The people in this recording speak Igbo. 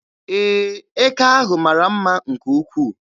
Ee, eke ahụ mara mma nke ukwuu.